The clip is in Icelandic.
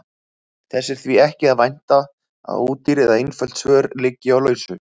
Þess er því ekki að vænta að ódýr eða einföld svör liggi á lausu.